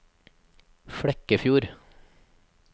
Flekkefjord